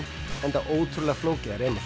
enda ótrúlega flókið að reima